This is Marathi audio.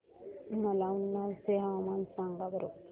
मला उन्नाव चे हवामान सांगा बरं